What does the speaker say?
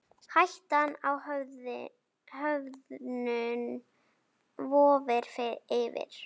Hættan á höfnun vofir yfir.